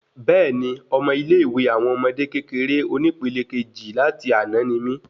Béèni, Ọmọ ilé ìwé àwọn ọmọdé kékeré oni pẹlẹ Kejì láti àná ni mí